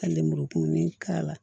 Ka lemurukumuni k'a la